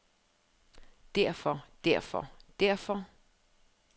derfor derfor derfor